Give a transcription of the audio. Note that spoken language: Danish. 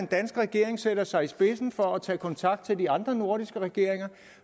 danske regering sætter sig i spidsen for at tage kontakt til de andre nordiske regeringer